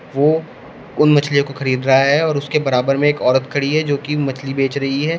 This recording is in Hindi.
वो उन मछलियो को खरीद रहा है और उसके बराबर में एक औरत खड़ी है जोकि मछली बेच रही है।